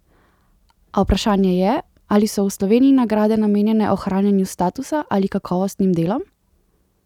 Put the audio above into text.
A vprašanje je, ali so v Sloveniji nagrade namenjene ohranjanju statusa ali kakovostnim delom?